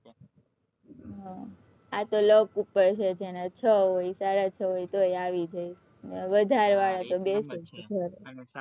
હમ આ તો luck ઉપર છે જેના છ હોય સાડા છ હોય તો નહી આવી જાય અને વધારે વાળા તો બેસે ઘર